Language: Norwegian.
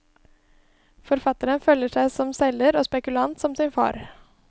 Forfatteren føler seg som selger og spekulant som sin far.